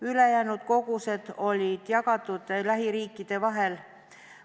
Ülejäänud kogused olid jagatud lähiriikide vahel.